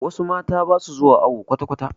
Wasu mata basu zuwa awo kwatakwata